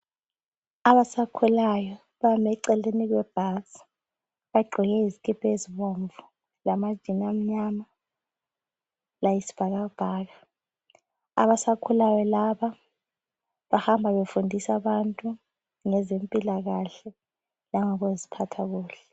Abasakhulayo bami eceleni kwebhasi bagqoke izikipa ezibomvu lamajini amnyama layisibhakabhaka. Abasakhulayo laba bahamba befundisa abantu ngezempilakahle langokuziphatha kuhle.